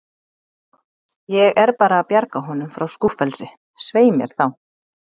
Ég er bara að bjarga honum frá skúffelsi, svei mér þá.